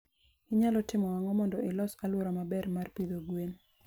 Inyalo timo ang'o mondo ilos alwora maber mar pidho gwen?